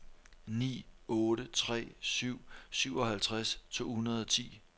ni otte tre syv syvoghalvtreds to hundrede og ti